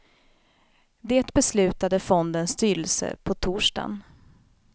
Det beslutade fondens styrelse på torsdagen.